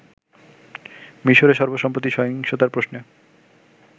মিশরে সর্বসম্প্রতি সহিংসতার প্রশ্নে